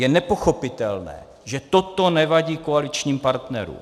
Je nepochopitelné, že toto nevadí koaličním partnerům.